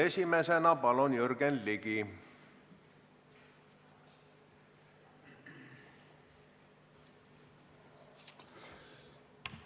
Esimesena, palun, Jürgen Ligi!